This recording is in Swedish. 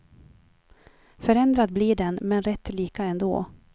Förändrad blir den, men rätt lika ändå.